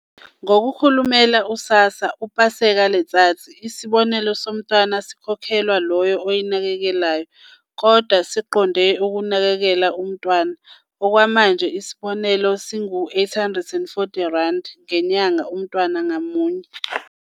NgokoKhulumela u-SASSA u-Paseka Letsatsi, isibonelelo somntwana sikhokhelwa loyo oyinakekelayo, kodwa siqonde ukunakekela umntwana. Okwamanje isibonelelo singama-R480 ngenyanga umntwana ngamunye.